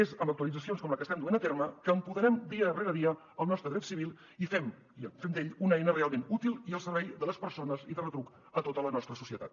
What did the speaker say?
és amb actualitzacions com la que estem duent a terme que empoderem dia rere dia el nostre dret civil i fem d’ell una eina realment útil al servei de les persones i de retruc de tota la nostra societat